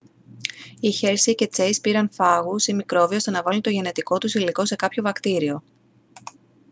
οι χέρσεϋ και τσέις πήραν φάγους ή μικρόβια ώστε να βάλουν το γενετικό τους υλικό σε κάποιο βακτήριο